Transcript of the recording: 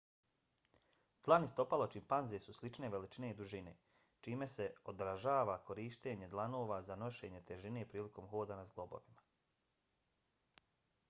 dlan i stopalo čimpanze su slične veličine i dužine čime se odražava korištenje dlanova za nošenje težine prilikom hoda na zglobovima